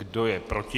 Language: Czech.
Kdo je proti?